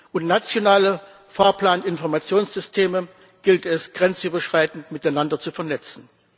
Und nationale Fahrplaninformationssysteme gilt es, grenzüberschreitend miteinander zu vernetzen.